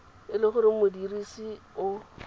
e le gore modirisi o